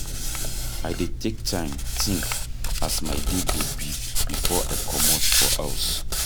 I dey take time tink as my day go be before I comot for house.